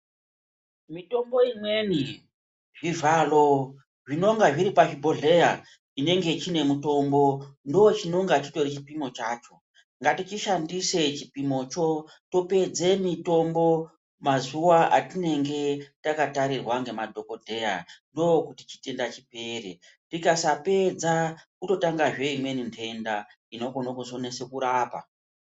Mitombo imweni zvivhalo zvinonga zviripa bhohleya chinenge chine mutombo ndo chinonga chitori chipimo chacho ngatichi shandise chipimo cho topedze mitombo mazuva atinenge taka tarirwa nge madhokodheya ndo kuti chitenda chipere tikasa pedza kuto tanga zvee imweni ndenda inokone kuzo nesa kurapa.